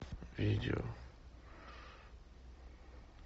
видео